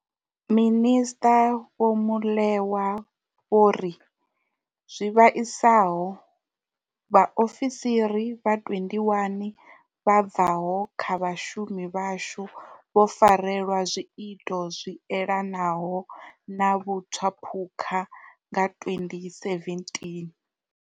Minisṱa vho Molewa vho ri, zwi vhaisaho vhaofisiri vha 21 vha bvaho kha vhashumi vhashu vho farelwa zwiito zwi elanaho na vhutswaphukha nga 2017.